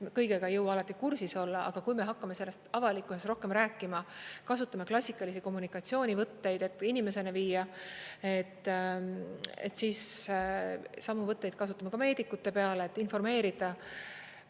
Kõigega ei jõua alati kursis olla, aga kui me hakkame sellest avalikkuses rohkem rääkima, kasutame klassikalisi kommunikatsioonivõtteid, et inimesteni viia, siis samu võtteid kasutame ka meedikute peale, et informeerida.